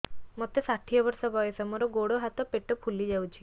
ମୋତେ ଷାଠିଏ ବର୍ଷ ବୟସ ମୋର ଗୋଡୋ ହାତ ପେଟ ଫୁଲି ଯାଉଛି